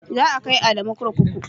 Za a kai Adamu kurkuku.